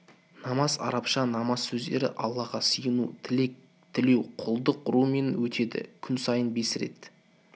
намаз арабша намаз сөздері аллаға сыйыну тілек тілеу құлдық ұрумен өтеді күн сайын бес рет